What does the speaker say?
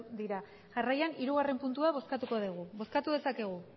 dira jarraian hirugarren puntua bozkatuko dugu bozkatu dezakegu